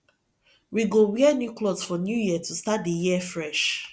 we go wear new clothes for new year to start the year fresh